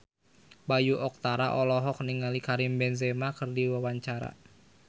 Bayu Octara olohok ningali Karim Benzema keur diwawancara